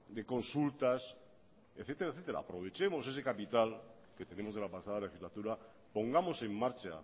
de consultas etcétera aprovechemos ese capital que tenemos de la pasada legislatura pongamos en marcha